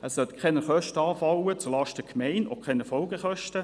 Es sollen keine Kosten zulasten der Gemeinde anfallen, auch keine Folgekosten.